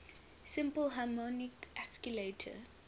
simple harmonic oscillator